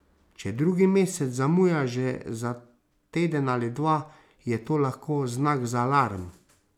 Če drugi mesec zamuja že za teden ali dva, je to lahko znak za alarm.